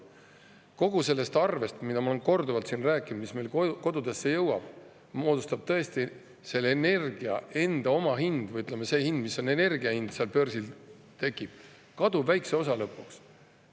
Kogu sellest arvest – ma olen korduvalt seda siin rääkinud –, mis meil kodudesse jõuab, moodustab energia omahind või see, mis on energia hind börsil, tõesti kaduvväikse osa lõpuks.